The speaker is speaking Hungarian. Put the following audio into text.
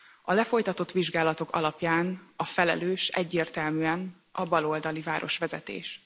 A lefolytatott vizsgálatok alapján a felelős egyértelműen a baloldali városvezetés.